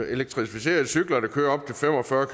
elektrificerede cykler der kører op til fem og fyrre